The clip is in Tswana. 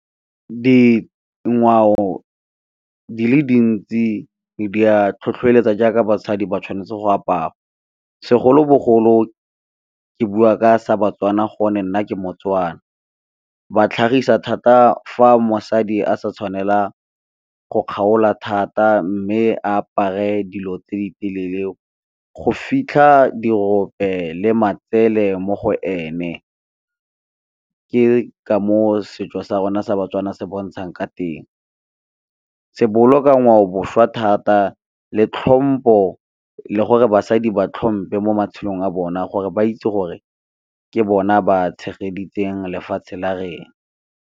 Dingwao di le dintsi di ya tlhotlhoeletsa jaaka basadi ba tshwanetse go apara, segolobogolo ke bua ka sa baTswana go nne ke moTswana. Ba tlhagisa thata fa mosadi a sa tshwanela go kgaola thata, mme apare dilo tse di telele go fitlha diope le matsele mo go ene, ke ka moo setso sa rona sa baTswana se bontshang ka teng. Se boloka ngwao boswa thata le tlhompho le gore basadi ba tlhompe mo matshelong a bona gore ba itse gore ke bona ba tshegeditswe lefatshe la .